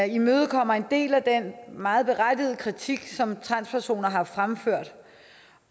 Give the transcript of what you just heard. imødekommer en del af den meget berettigede kritik som transpersoner har fremført